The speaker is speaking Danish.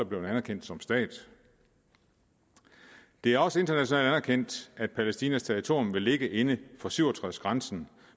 blevet anerkendt som stat det er også internationalt anerkendt at palæstinas territorium vil ligge inden for nitten syv og tres grænsen